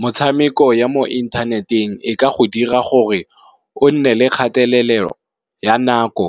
Motshameko ya mo inthaneteng e ka go dira gore, o nne le kgatelelo ya nako